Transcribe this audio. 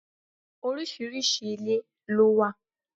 Oríṣiríṣi ilé ló wà.